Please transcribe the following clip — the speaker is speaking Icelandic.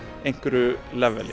einhverju